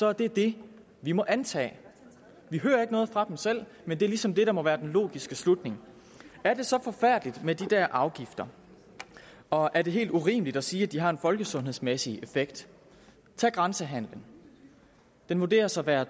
er det det vi må antage vi hører ikke noget fra dem selv men det er ligesom det der må være den logiske slutning er det så forfærdeligt med de afgifter og er det helt urimeligt at sige at de har en folkesundhedsmæssig effekt tag grænsehandelen den vurderedes at være